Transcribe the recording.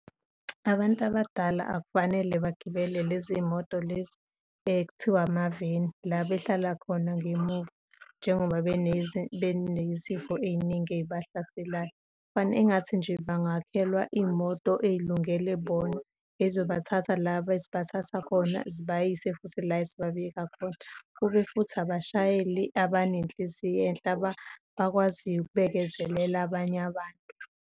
Abantu abadala akufanele bagibele leziy'moto lezi okuthiwa amaveni, la behlala khona ngemuva njengoba benezifo ey'ningi ey'bahlaselayo. Engathi nje bangakhelwa iy'moto ey'lungele bona ezizobathatha la ezibathatha khona, zibayise futhi la ezibabeka khona. Kube futhi abashayeli abanenhliziyo enhle abakwaziyo ukubekezelela abanye abantu.